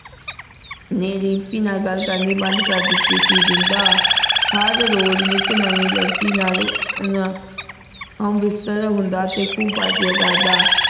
ਨੇ ਦਿਮ੍ਪੀ ਨਾਲ ਗਲ ਕਰਨੀ ਬੰਦ ਕਰ ਦਿਤੀ ਸੀ ਜਿੰਦਾ ਹਰ ਰੋਜ਼ ਨਿਤ ਨਵੀ ਲੜਕੀ ਨਾਲ ਨਾ ਹਮਬਿਸਤਰ ਹੁੰਦਾ ਤੇ ਖੂਬ ਪਾਰ੍ਟਿਯਾੰ ਕਰਦਾ